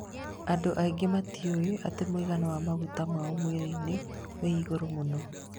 Andũ aingĩ matiũĩ atĩ mũigana wa maguta mao mwĩrĩ-inĩ wĩ igũrũ mũno